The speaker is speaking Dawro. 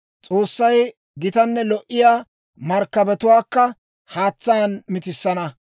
S'oossay gitanne lo"iyaa markkabatuwaakka haatsaan mitissana.